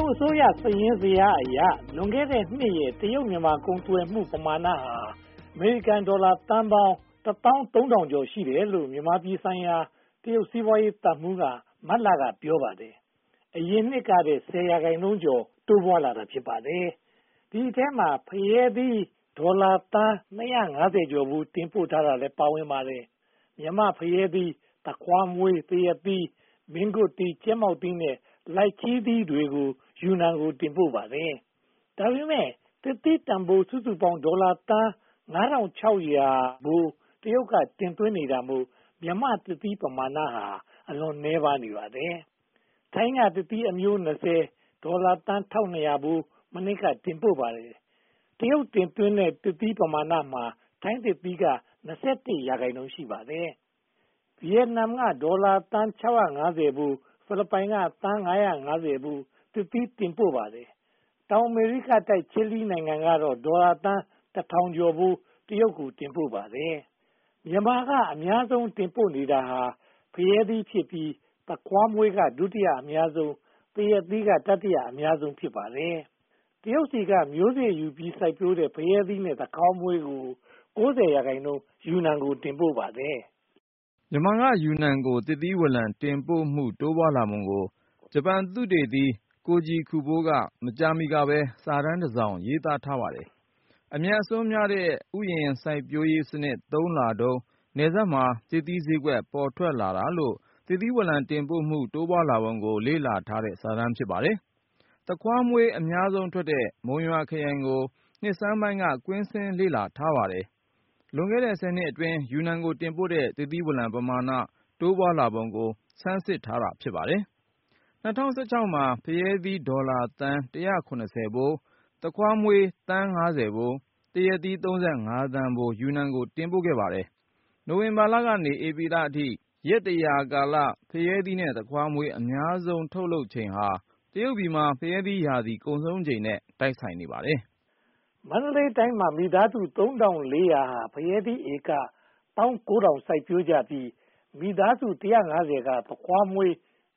ုတ်အစိုးရ စာရင်းဇယားအရ လွန်ခဲ့တဲ့နှစ်ရဲ့ တရုတ်-မြန်မာ ကုန်သွယ်မှု ပမာဏဟာ အမေရိကန်ဒေါ်လာသန်းပေါင်း (၁,၃၅၄၀) ရှိတယ်လို့ မြန်မာပြည်ဆိုင်ရာ တရုတ်စီးပွားရေးသံမှူးက မတ်လ က ပြောပါတယ်။ အရင်နှစ်ကထက် ဆယ်ရာခိုင်နှုန်းကျော် တိုးပွားလာတာ ဖြစ်ပါတယ်။ ဒီအထဲမှာ ဖရဲသီး ဒေါ်လာသန်း (၂၂၅) ဖိုး တင်ပို့ထားတာလည်း ပါဝင်ပါတယ်။ မြန်မာ့ဖရဲသီး၊ သခွားမွှေး၊ သရက်သီး၊ မင်းကွတ်သီး၊ ကြက်မောက်သီး နဲ့ လိုင်ချီသီးတို့ကို ယူနန်ကို တင်ပို့ပါတယ်။ ဒါပေမဲ့ သစ်သီးတန်းဖိုး စုစုပေါင်းဟာ ဒေါ်လာသန်း (၅၆၀၀) တရုတ်က တင်သွင်းတာမို့ မြန်မာ့သစ်သီး ပမာဏဟာ အလွန်နည်းနေပါတယ်။ ထိုင်းက သစ်သီးအမျိုး (၂၀)၊ ဒေါ်လာသန်း (၁၂၀၀) ဖိုး မနှစ်က တင်ပို့ပါတယ်။ တရုတ်တင်သွင်း သစ်သီးပမာဏမှာ ထိုင်းသစ်သီးက (၂၁) ရာခိုင်နှုန်း ရှိပါတယ်။ ဗိယက်နမ်က ဒေါ်လာသန်း (၆၅၀) ဖိုး၊ ဖိလစ်ပိုင်က ဒေါ်လာသန်း (၅၅၀) ဖိုး သစ်သီးတင်ပို့ပါတယ်။ တောင်အမေရိကတိုက် ချီလီနိုင်ငံကတော့ သစ်သီးဒေါ်လာသန်း (၁၀၀၀) ကျော်ဖိုး တရုတ်ကို တင်ပို့ပါတယ်။ မြန်မာက အများဆုံး တင်ပို့နေတာဟာ ဖရဲသီးဖြစ်ပြီး သခွားမွှေးက ဒုတိယ အများဆုံး၊ သရက်သီးက တတိယအများဆုံး ဖြစ်ပါတယ်။ တရုတ်ဆီက မျိးစေ့ယူပြီး စိုက်ပျိုးတဲ့ ဖရဲသီးနဲ့ သခွားမွှေးတို့ကို (၉၀) ရာခိုင်နှုန်း ယူနန်ကို တင်ပို့ပါတယ်။ မြန်မာက ယူနန်ကို သစ်သီးဝလံ တင်ပို့မှု တိုးပွားလာပုံကို ဂျပန်သုတေသီ ကိုဂျီကူဘိုး က မကြာမီကပဲ စာတမ်းတစောင်ရေးထားပါတယ်။ အမြတ်အစွန်းများတဲ့ ဥယျာဉ်စိုက်ပျိုးရေးစနစ် သုံးလာတုန်း၊ နယ်စပ်မှာ သစ်သီးဈေးကွက် ပေါ်ထွက်လာတာမို့ သစ်သီးဝလံ တင်ပို့မှု တိုးပွားလာပုံကို လေ့လာထားတဲ့ စာတမ်းဖြစ်ပါတယ်။ သခွားမွှေး အများဆုံးထွက်တဲ့ မုံရွာခရိုင်ကို နှစ်ဆန်းပိုင်းက ကွင်းဆင်းလေ့လာပါတယ်။ လွန်ခဲ့တဲ့ ဆယ်နှစ်အတွင်း ယူနန်ကို တင်ပို့တဲ့ သစ်သီးဝလံ ပမာဏ တိုးပွားလာပုံကို ဆန်းစစ်ထားတာပါ။ ၂၀၁၆ မှာ ဖရဲသီး ဒေါ်လာသန်း (၁၇၀) ဖိုး၊ သခွားမွှေး သန်း (၅၀) ဖိုး၊ သရက်သီး (၃၅) သန်းဖိုး ယူနန်ကို တင်ပို့ပါတယ်။ နိုဝင်ဘာကနေ ဧပြီလအထိ ရက်တစ်ရာကာလမှာ ဖရဲသီး နဲ့ သခွါးမွှေး အများဆုံး ထုတ်လုပ်ချိန်ဟာ တရုတ်ပြည်မှာ ဖရဲသီး ရာသီကုန်ဆုံးချိန်နဲ့ တိုက်ဆိုင်နေပါတယ်။ မန္တလေးတိုင်းမှာ မိသားစု (၃၀၀၀) ဟာ ဖရဲသီး ဧက (၁၉,၀၀၀) စိုက်ပျိုးကြပြီး၊ မိသားစု (၁၅၀) က သခွားမွှေး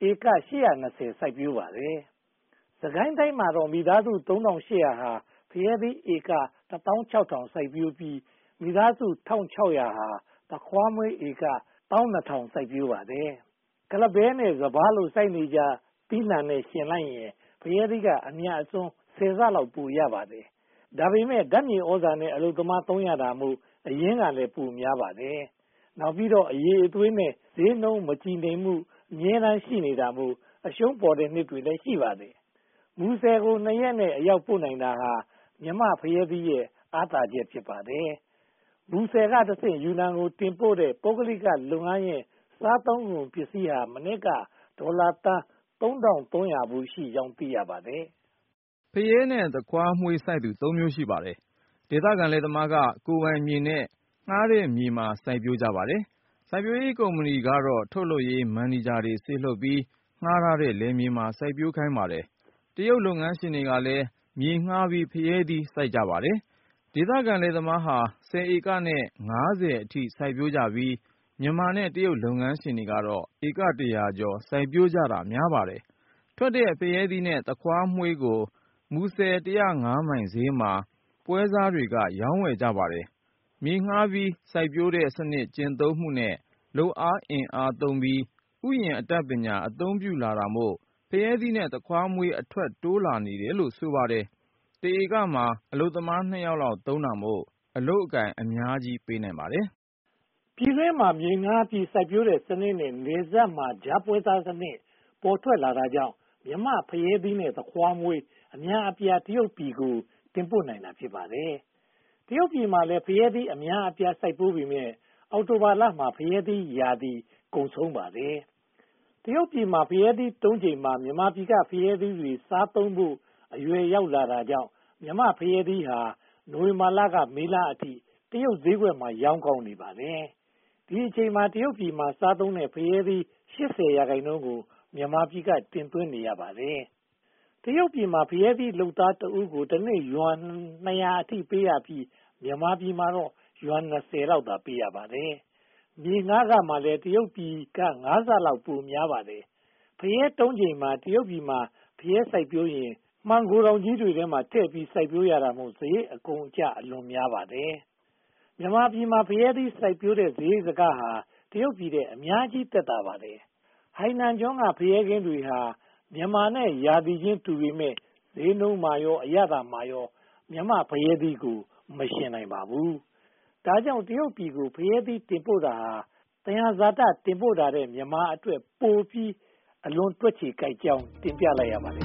ဧက (၈၂၀) ကို စိုက်ပျိုးပါတယ်။ စစ်ကိုင်းတိုင်းမှာတော့ မိသားစု (၃၈၀၀) က ဖရဲသီး ဧက (၁၆,၀၀၀) စိုက်ပျိုးပြီး၊ မိသားစု (၁၆၀၀) ဟာ သခွားမွှေး ဧက (၁၂,၀၀၀) စိုက်ပျိုးပါတယ်။ ကုလားပဲနဲ့ စပါး လို စိုက်နေကျသီးနံှနဲ့ ယှဉ်လိုက်ရင် ဖရဲသီးက အမြတ်အစွန်း ဆယ်ဆလောက် ပိုရပါတယ်။ ဒါပေမဲ့ ဓါတ်မြေသြဇာနဲ့ အလုပ်သမား သုံးရတာမို့ အရင်းကလည်း ပိုများပါတယ်။ နောက်ပြီးတော့ အရည်အသွေးနဲ့ ဈေးနှုန်း မတည်ငြိမ်မှု အမြဲတမ်း ရှိနေတာမို့ အရှုံးပေါ်တဲ့ နှစ်တွေလည်း ရှိပါတယ်။ မူဆယ်ကို (၂) ရက်နဲ့ အရောက်ပို့နိုင်တာဟာ မြန်မာ့ဖရဲသီးရဲ့ အားသာချက် ဖြစ်ပါတယ်။ မူဆယ်ကတဆင့် ယူနန်ကို တင်ပို့တဲ့ ပုဂ္ဂလိကလုပ်ငန်းရဲ့ စားသုံးကုန်ပစ္စည်းဟ မနှစ်က ဒေါ်လာသန်း (၃၃၀၀) ဖိုး ရှိကြောင်း သိရပါတယ်။ ဖရဲနဲ့ သခွားမွှေး စိုက်သူ (၃) မျိုး ရှိပါတယ်။ ဒေသခံလယ်သမားက ကိုယ်ပိုင်မြေနဲ့ ငှားတဲ့မြေမှာ စိုက်ပျိုးကြပါတယ်။ စိုက်ပျိုးရေးကုမ္ပဏီကတော့ ထုတ်လုပ်ရေး မန်နေဂျာတွေ စေလွှတ်ပြီး ငှားထားတဲ့ လယ်မြေပေါ်မှာ စိုက်ပျိုးခိုင်းပါတယ်။ တရုတ်လုပ်ငန်းရှင်တွေကလည်း မြေငှားပြီး ဖရဲသီး စိုက်ပျိုးကြပါတယ်။ ဒေသခံလယ်သမားဟာ (၁၀) ဧကနဲ့ (၅၀) အထိ စိုက်ပျိုးကြပြီး၊ မြန်မာနဲ့ တရုတ်လုပ်ငန်းရှင်တွေကတော့ ဧက တစ်ရာကျော် စိုက်ပျိုးကြတာ များပါတယ်။ ထွက်တဲ့ ဖရဲသီး နဲ့ သခွားမွှေးတို့ကို မူဆယ် (၁၅၀) မိုင် ဈေးမှာ ပွှဲစားတွေက ရောင်းဝယ်ကြပါတယ်။ မြေငှားပြီး စိုက်ပျိုးတဲ့စနစ် ကျင့်သုံးမှုနဲ့ လုပ်သားအင်အားသုံးပြီး ဥယျာဉ်အတတ်ပညာ အသုံးပြုလာတာမို့ ဖရဲသီး နဲ့ သခွားမွှေး အထွက်တိုးလာနေတယ်လို့ ဆိုပါတယ်။ တဧကမှာ အလုပ်သမား (၂) ယောက်လောက် သုံးတာမို့ အလုပ်အကိုင် အများကြီးပေးနိုင်ပါတယ်။ ပြည်တွင်းမှာ မြေငှားပြီး စိုက်ပျိုးတဲ့စနစ်နဲ့ နယ်စပ်မှာ ကြားပွဲစားစနစ် ပေါ်ထွက်လာတာကြောင့် မြန်မာ့ဖရဲသီးနဲ့ သခွားမွှေး အများအပြား တရုတ်ပြည်ကို တင်ပို့နိုင်တာ ဖြစ်ပါတယ်။ တရုတ်ပြည်မှာလည်း ဖရဲသီး အများအပြား စိုက်ပျိုးပေမယ့် အောက်တိုဘာလမှာ ဖရဲသီးရာသီ ကုန်ဆုံးပါတယ်။ တရုတ်ပြည်မှာ ဖရဲသီး တုံးချိန်မှာ မြန်မာပြည်က ဖရဲသီးတွေ စားသုံးဖို့ အရွယ်ရောက်လာတာကြောင့် မြန်မာ့ဖရဲသီးဟာ နိုဝင်ဘာလကနေ မေလအထိ တရုတ်ဈေးကွက်မှာ ရောင်းကောင်းနေပါတယ်။ ဒီအချိန်မှာ တရုတ်ပြည်မှာ စားသုံးတဲ့ ဖရဲသီး (၈၀) ရာခိုင်နှုန်းကို မြန်မာပြည်က တင်သွင်းနေရပါတယ်။ တရုတ်ပြည်မှာ ဖရဲလုပ်သားတဦးကို တနေ့ယွမ် (၂၀၀) အထိ ပေးရပြီး မြန်မာပြည်မှာတော့ ယွမ် (၂၀) လောက်သာ ပေးရပါတယ်။ မြေငှားခမှာလည်း တရုတ်ပြည်က ငါးဆလောက် ပိုများပါတယ်။ ဖရဲသီး တုံးချိန်မှာ တရုတ်ပြည်မှာ ဖရဲ စိုက်ပျိုးရင် မှန်ဂိုဒေါင်ကြီးတွေထဲမှာ စိုက်ပျိုးရတာမို့ စရိတ်အကုန်အကျ အလွန်များပါတယ်။ မြန်မာပြည်မှာ ဖရဲသီး စိုက်ပျိုးတဲ့ စရိတ်စခဟာ တရုတ်ပြည်ထက် အများကြီးသက်သာပါတယ်။ ဟိုင်နန်ကျွန်းက ဖရဲခင်းတွေဟာ မြန်မာနဲ့ ရာသီချင်း တူပေမယ့် ဈေးနှုန်းမှာရော အရသာမှာရော မြန်မာ့ဖရဲသီးကို မယှဉ်နိုင်ပါဘူး။ ဒါကြောင့် တရုတ်ပြည်ကို ဖရဲသီး တင်ပို့တာဟာ သယံဇာတ တင်ပို့တာထက် မြန်မာအတွက် ပိုအကျိုးရှိပြီး အလွန်တွက်ခြေကိုက်ကြောင်း တင်ပြလိုက်ရပါတယ်